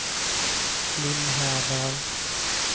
Lillhärdal